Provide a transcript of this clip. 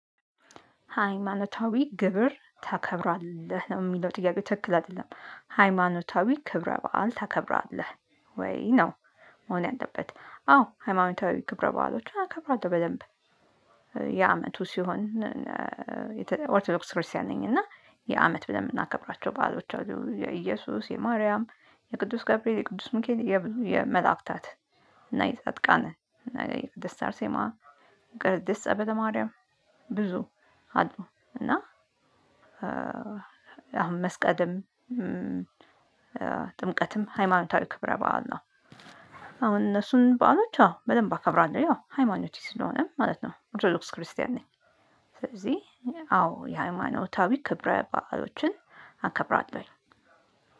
ሃይማኖታዊ ግብር ታከብራለህ ነው የሚለው ጥያቄው ትክክል አይደለም ሃይማኖታዊ ክብረ በዓል ታከብራለህ ወይ ነው? መሆን ያለበት አዎ ሃይማኖታዊ ክብረ በዓሎችን አከብራለሁ በደንብ። የአመቱ ሲሆን ኦርቶዶክስ ክርስቲያን ነኝ እና የአመት ብለን የምናከብራቸው ባዕሎች የኢየሱስ የማርያም የቅዱስ ገብርኤል የቅዱስ ምካኤል የብዙ የመላእክታት። እና የጻድቃን እና የቅድስት አርሴማ የቅድስት ጸበለ ማርያም። ብዙ አሉ እና አሁን መስቀልም ጥምቀትም ሃይማኖታዊ ክብረ በዓል ነው። አሁን እነሱን በዓሎች አዎ በደንብ አከብራለሁ ያው ሃይማኖቴ ስለሆነም ማለት ነው ኦርቶዶክስ ክርስቲያን ነኝ። ስለዚህ አዎ የሃይማኖታዊ ክብረ በዓሎችን አከብራለሁ